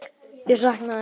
Ég sakna þess.